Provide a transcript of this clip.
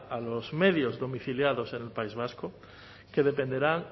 a los medios domiciliados en el país vasco que dependerán